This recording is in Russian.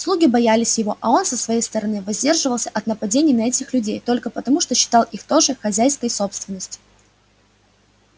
слуги боялись его а он со своей стороны воздерживался от нападений на этих людей только потому что считал их тоже хозяйской собственностью